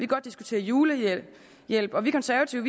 godt diskutere julehjælp og vi konservative